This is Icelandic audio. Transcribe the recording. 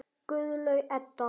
Guðlaug Edda.